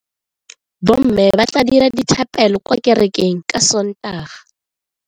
Bomme ba tla dira dithapelo kwa kerekeng ka Sontaga.